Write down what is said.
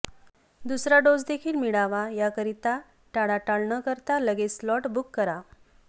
दुसरा डोस देखील मिळावा याकरिता टाळाटाळ न करता लगेच स्लॉट बुक करा